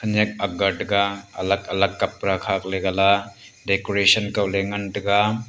khanyak agat tega alag alag kapra kha khak le gala decoration kaw ley ngan taiga.